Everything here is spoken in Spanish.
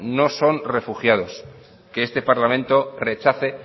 no son refugiados que este parlamento rechace